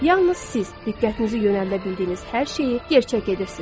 Yalnız siz diqqətinizi yönəldə bildiyiniz hər şeyi gerçək edirsiniz.